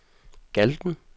Galten